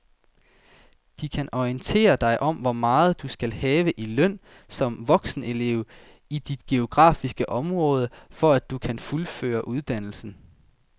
De kan orientere dig om hvor meget du skal have i løn som voksenelev i dit geografiske område, for at du kan fuldføre uddannelsen.